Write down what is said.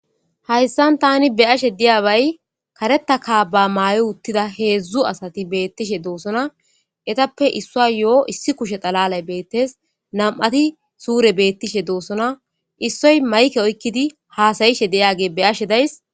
hayssan tani be ashe diyabay kareta ka ba maaye uttida heedzdzu asati beettishe doosona etappe issua yo7o issi kushe xalalay beettes nam7ati suure beettishe doosona issoy mayke oykkidi haasayishe deyage be ashe days